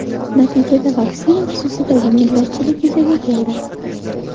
Natijada vaksina xususidagi millatchilik yuzaga keldi.